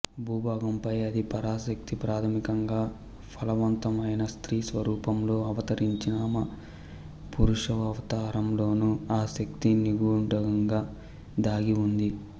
భూభాగం పై ఆది పరాశక్తి ప్రాథమికంగా ఫలవంతమైన స్త్రీ స్వరూపంలో అవతరించిననూ పురుషావతారంలోనూ ఆ శక్తి నిగూఢంగా దాగి ఉంది